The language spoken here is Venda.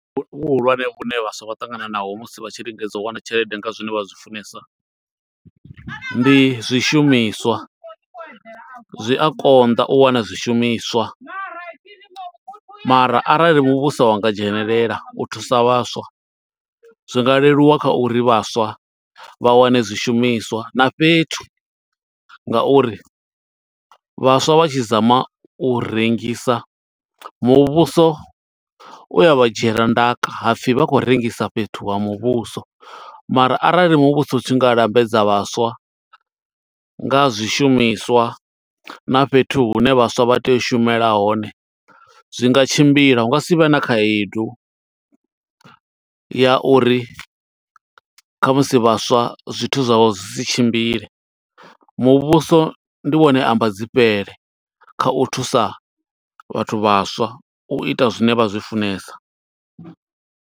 Vhu vhuhulwane vhune vhaswa vha ṱangana naho musi vha tshi lingedza, u wana tshelede nga zwine vha zwi funesa. Ndi zwishumiswa, zwi a konḓa u wana zwishumiswa, mara arali muvhuso wa nga dzhenelela u thusa vhaswa. Zwi nga leluwa kha uri vhaswa vha wane zwishumiswa na fhethu, nga uri vhaswa vha tshi zama u rengisa, muvhuso u ya vha dzhiela ndaka ha pfi vha khou rengisa fhethu ha muvhuso. Mara arali muvhuso u tshi nga lambedza vhaswa, nga ha zwishumiswa na fhethu hune vhaswa vha tea u shumela hone. Zwi nga tshimbila, hunga sivhe na khaedu, ya uri khamusi vhaswa zwithu zwa vho zwi si tshimbile. Muvhuso ndi wone amba dzi fhele kha u thusa vhathu vhaswa, u ita zwine vha zwi funesa.